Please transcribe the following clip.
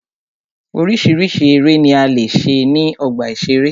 Oríṣiríṣi eré ni a lè ṣe ní ọgbà ìṣeré.